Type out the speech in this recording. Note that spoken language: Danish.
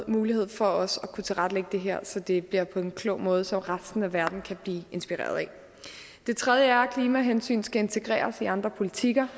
mulighed for også at kunne tilrettelægge det her så det bliver på en klog måde som resten af verden kan blive inspireret af det tredje princip er at klimahensyn skal integreres i andre politikker